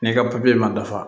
N'i ka papiye ma dafa